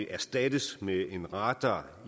erstattes med en radar